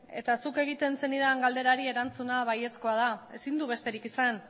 eta zuk egiten zenidan galderari erantzuna baiezkoa da ezin du besterik izan